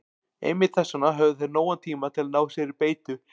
Einmitt þess vegna höfðu þeir nógan tíma til að ná sér í beitu.